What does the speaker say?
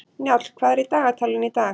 Njáll, hvað er í dagatalinu í dag?